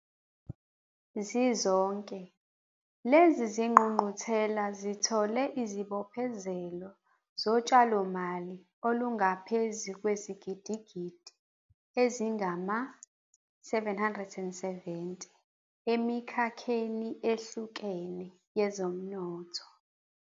Zizonke, lezi zingqungquthela zithole izibophezelo zotshalomali olungaphezu kwezigidigidi ezingama-R770 emikhakheni ehlukene yezomnotho.